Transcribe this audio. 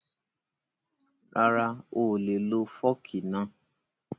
Rara, oolè lo fọ́ọ̀kì náà